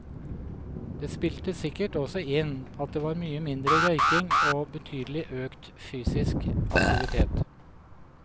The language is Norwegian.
Det spilte sikkert også inn at det var mye mindre røyking og betydelig økt fysisk aktivitet.